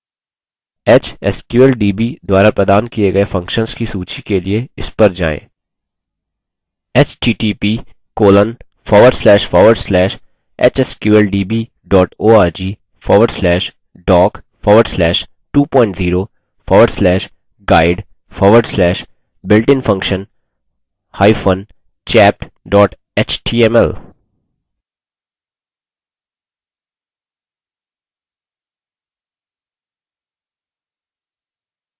hsqldb द्वारा प्रदान किये गये functions की सूची के लिए इस पर जाएँ: